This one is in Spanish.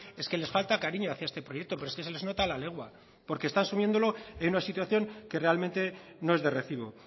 es que les falta cariño hacia este proyecto pero es que se les nota a la legua porque están sumiéndolo en una situación que realmente no es de recibo